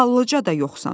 Xallıca da yoxsan.